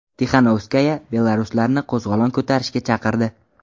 Tixanovskaya belaruslarni qo‘zg‘olon ko‘tarishga chaqirdi.